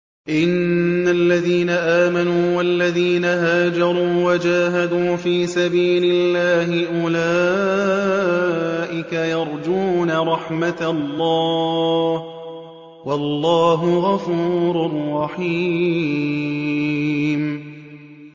إِنَّ الَّذِينَ آمَنُوا وَالَّذِينَ هَاجَرُوا وَجَاهَدُوا فِي سَبِيلِ اللَّهِ أُولَٰئِكَ يَرْجُونَ رَحْمَتَ اللَّهِ ۚ وَاللَّهُ غَفُورٌ رَّحِيمٌ